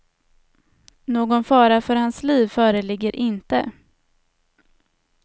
Någon fara för hans liv föreligger inte.